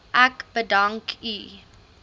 ek u bedank